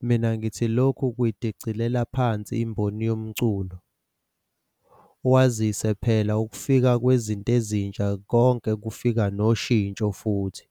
Mina ngithi lokhu kuyidicilela phansi imboni yomculo, kwazise phela ukufika kwezinto ezintsha konke kufika noshintsho futhi.